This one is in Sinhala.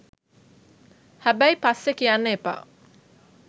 හැබැයි පස්සෙ කියන්න එපා